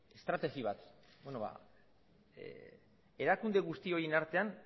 estrategi bat ba erakunde guzti horien artean